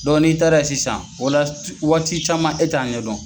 n'i taara ye sisan o la waati caman e t'a ɲɛ dɔn.